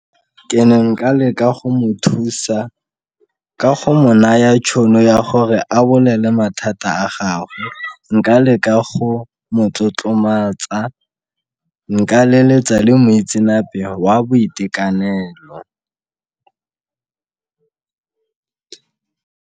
Ke ne nka leka go mo thusa ka go mo naya tšhono ya gore a bolele mathata a gagwe, nka leka go mo tlotlomatsa, nka leletsa le moitsenape wa boitekanelo.